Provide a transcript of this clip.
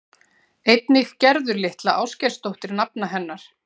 Einnig Gerður litla Ásgeirsdóttir nafna hennar.